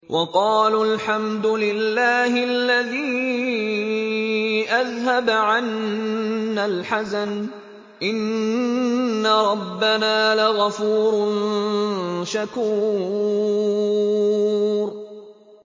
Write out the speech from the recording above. وَقَالُوا الْحَمْدُ لِلَّهِ الَّذِي أَذْهَبَ عَنَّا الْحَزَنَ ۖ إِنَّ رَبَّنَا لَغَفُورٌ شَكُورٌ